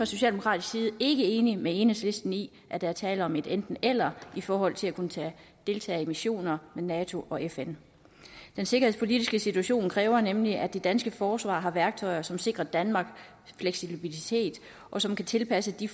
socialdemokratisk side ikke enige med enhedslisten i at der er tale om et enten eller i forhold til at kunne deltage i missioner med nato og fn den sikkerhedspolitiske situation kræver nemlig at det danske forsvar har værktøjer som sikrer danmark fleksibilitet og som kan tilpasses de